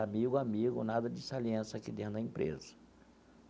Amigo, amigo, nada de saliência aqui dentro da empresa.